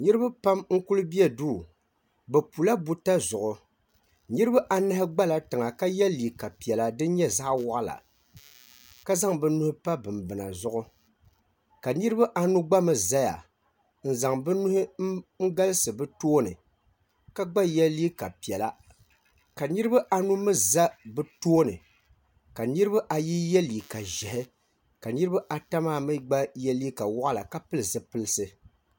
Niriba pam n-kuli be duu bɛ pula buta zuɣu niriba anahi gbala tiŋa ka ye liiga piɛla din nyɛ zaɣ'waɣila ka zaŋ bɛ nuhi pa bimbina zuɣu ka niriba anu gba mi zaya n-zaŋ bɛ nuhi n-galisi bɛ tooni ka gba ye liiga piɛla ka niriba anu mi za bɛ tooni ka niriba ayi ye liiga ʒɛhi ka niriba ata maa mi gba ye liiga waɣila ka pili zipipilisi.